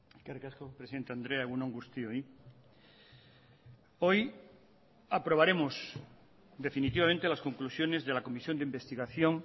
eskerrik asko presidente andrea egun on guztioi hoy aprobaremos definitivamente las conclusiones de la comisión de investigación